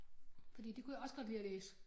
Fordi det kunne jeg også godt lide at læse